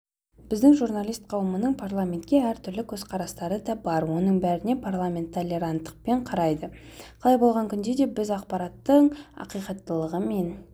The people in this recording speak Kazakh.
біздің журналист қауымның парламентке әртүрлі көзқарастары да бар оның бәріне парламент толеранттықпен қарайды қалай болған күнде де біз ақпараттың ақиқаттылығы мен